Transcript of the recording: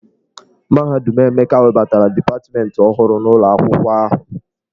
Mahadum Emeka webatara dipatmentị ọhụrụ n'ụlọ akwụkwọ ahụ.